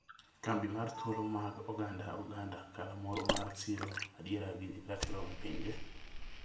Kambi mar Thuolo mag Oganda - Uganda, galamoro ma siro adiera gi ratiro e pinje